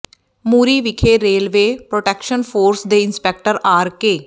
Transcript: ਮੂਰੀ ਵਿਖੇ railway protection force ਦੇ inspector R ਕੇ